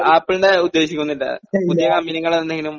ആപ്പിളിന്റെ ഉദ്ദേശിക്കുന്നില്ല. പുതിയ കമ്പനികൾ എന്തെങ്കിലും